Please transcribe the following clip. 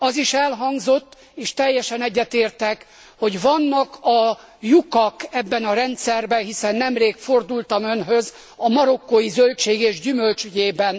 Az is elhangzott, és teljesen egyetértek, hogy vannak a lyukak ebben a rendszerben, hiszen nemrég fordultam önhöz a marokkói zöldség és gyümölcs ügyében.